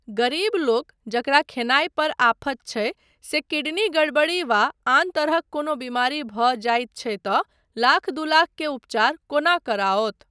गरीबलोक जकरा खयनाय पर आफत छै से किडनी गड़बड़ी वा आन तरहक कोनो बीमारी भऽ जाइत छै तँ लाख दू लाख के उपचार कोना कराओत।